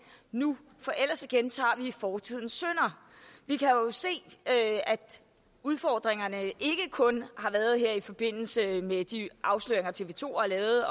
nu for ellers gentager vi fortidens synder vi kan jo se at udfordringerne ikke kun har været der her i forbindelse med de afsløringer tv to har lavet